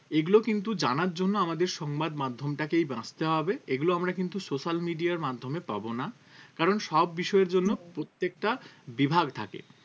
এগুলো কিন্তু জানার জন্য আমাদের সংবাদ মাধ্যমটাকে এই বাঁছতে হবে এগুলো আমরা কিন্তু social media আর মাধ্যমে পাবো না কারণ সব বিষয়ের জন্য প্রত্যেকটা বিভাগ থাকে